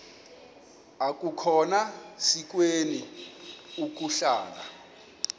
akukhona sikweni ukuhlala